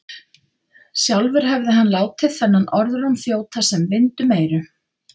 Sjálfur hefði hann látið þennan orðróm þjóta sem vind um eyru.